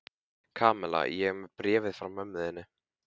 Kamilla, ég er með bréfið frá mömmu þinni.